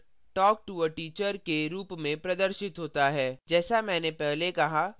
यहाँ output talk to a teacher के रूप में प्रदर्शित होता है